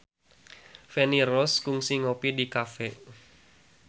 Feni Rose kungsi ngopi di cafe